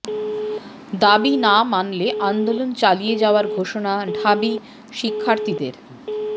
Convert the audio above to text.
দাবি না মানলে আন্দোলন চালিয়ে যাওয়ার ঘোষণা ঢাবি শিক্ষার্থীদের